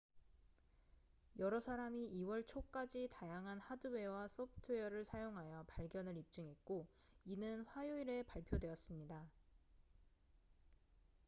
여러 사람이 2월 초까지 다양한 하드웨어와 소프트웨어를 사용하여 발견을 입증했고 이는 화요일에 발표됐습니다